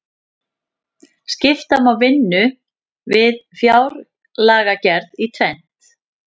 skipta má vinnu við fjárlagagerð í tvennt